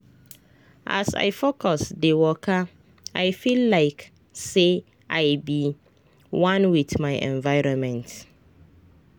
as i focus dey wakai feel like say i be one with my environment.